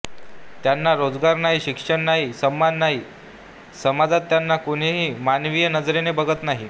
त्यांना रोजगार नाही शिक्षण नाही सन्मान नाही समाजात त्यांना कुणीही मानवीय नजरेने बघत नाही